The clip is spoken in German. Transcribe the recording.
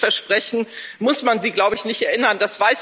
An dieses Versprechen muss man sie, glaube ich, nicht erinnern